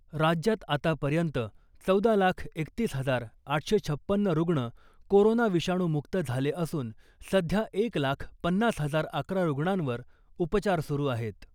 राज्यात आतापर्यंत चौदा लाख एकतीस हजार आठशे छप्पन्न रुग्ण कोरोना विषाणू मुक्त झाले असून , सध्या एक लाख पन्नास हजार अकरा रुग्णांवर उपचार सुरु आहेत .